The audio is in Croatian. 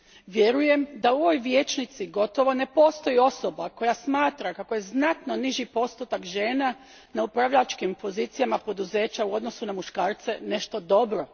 Vjerujem da u ovoj vijećnici gotovo ne postoji osoba koja smatra kako je znatno niži postotak žena na upravljačkim pozicijama poduzeća u odnosu na muškarce nešto dobro.